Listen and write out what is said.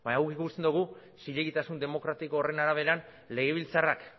baina guk ikusten dugu zilegitasun demokratiko horren arabera legebiltzarrak